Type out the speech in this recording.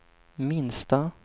minsta